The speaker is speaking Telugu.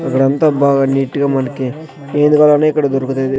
అక్కడంతా బాగా నీట్ గా మనకి ఏది కావాలన్నా ఇక్కడ దొరుకుతది.